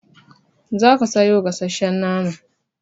Za ki sayo gasshen naman!